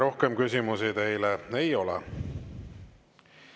Rohkem küsimusi teile ei ole.